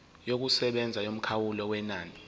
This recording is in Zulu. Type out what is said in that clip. yokusebenza yomkhawulo wenani